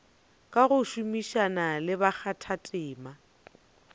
ka go šomišana le bakgathatema